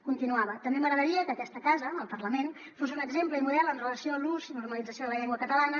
continuava també m’agradaria que aquesta casa el parlament fos un exemple i model amb relació a l’ús i normalització de la llengua catalana